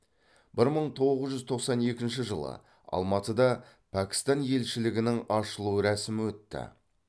бір мың тоғыз жүз тоқсан екінші жылы алматыда пәкістан елшілігінің ашылу рәсімі өтті